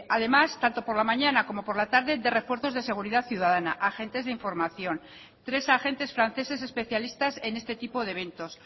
además tanto por la mañana como por la tarde de refuerzos de seguridad ciudadana agentes de información tres agentes franceses especialistas en este tipo de eventos